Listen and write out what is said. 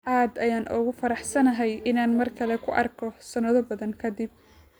Aad ayaan ugu faraxsanahay inaan markale ku arko sanado badan kadib